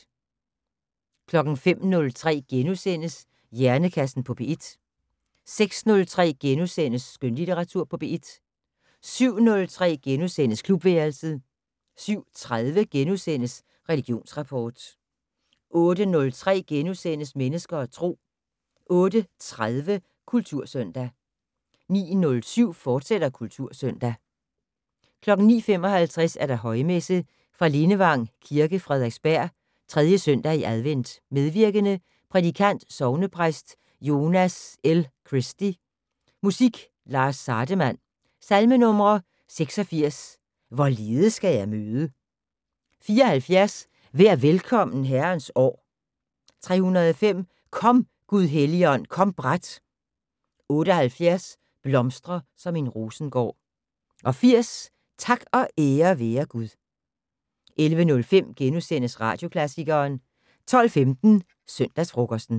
05:03: Hjernekassen på P1 * 06:03: Skønlitteratur på P1 * 07:03: Klubværelset * 07:30: Religionsrapport * 08:03: Mennesker og Tro * 08:30: Kultursøndag 09:07: Kultursøndag, fortsat 09:55: Højmesse - Fra Lindevang Kirke, Frederiksberg. 3. søndag i advent. Medvirkende: Prædikant: sognepræst Jonas L. Christy. Musik: Lars Sardemann. Salmenumre: 86: "Hvorledes skal jeg møde". 74: "Vær velkommen Herrens år". 305: "Kom, Gud Helligånd, kom brat". 78: "Blomstre som en rosengård". 80: "Tak og ære være Gud". 11:05: Radioklassikeren * 12:15: Søndagsfrokosten